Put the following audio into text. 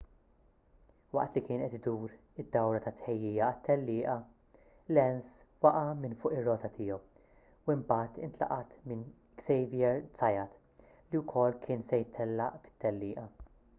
waqt li kien qed idur id-dawra ta' tħejjija għat-tellieqa lenz waqa' minn fuq ir-rota tiegħu u mbagħad intlaqat minn xavier zayat li wkoll kien se jtellaq fit-tellieqa